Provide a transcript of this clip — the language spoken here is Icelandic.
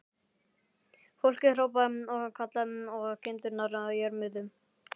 Fólkið hrópaði og kallaði og kindurnar jörmuðu.